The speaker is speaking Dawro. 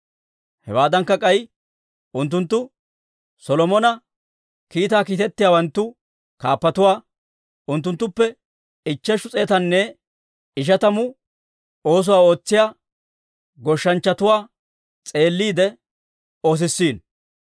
Hewaadankka k'ay, unttunttu Solomona kiitaa kiitettiyaawanttu kaappatuwaa; unttunttuppe ichcheshu s'eetanne ishatamatu oosuwaa ootsiyaa goshshanchchatuwaa s'eelliide oosissiino.